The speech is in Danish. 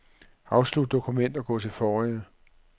Afslut dokument og gå til forrige.